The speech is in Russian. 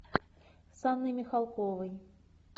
с анной михалковой